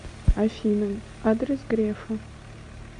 афина адрес грефа